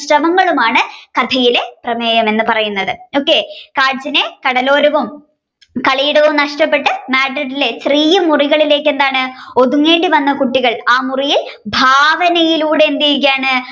ശ്രമങ്ങളുമാണ് കഥയിലെ പ്രമേയം എന്ന് പറയുന്നത് ok കാഞ്ചനയിലെ കടലോരവും കളിയിടവും നഷ്ടപ്പെട്ട് Madrid ലെ ചെറിയ മുറികളിലേക്ക് എന്താണ് ഒതുങ്ങേണ്ടി വന്ന കുട്ടികൾ ആ മുറിയിൽ ഭാവനയിലൂടെ എന്തെയുകയാണ്